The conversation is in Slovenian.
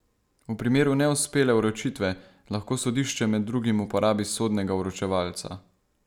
V primeru neuspele vročitve, lahko sodišče med drugim uporabi sodnega vročevalca.